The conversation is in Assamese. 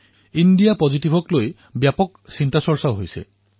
ইণ্ডিয়া পজিটিভক লৈ ব্যাপক চৰ্চা হৈছে